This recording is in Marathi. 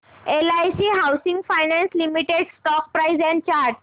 LIC housing finance limited stock price and chart